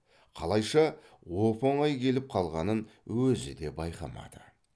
қалайша оп оңай келіп қалғанын өзі де байқамады